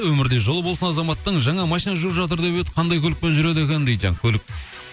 өмірде жолы болсын азаматтың жаңа машина жуып жатыр деп еді қандай көлікпен жүреді екен дейді жаңа көлік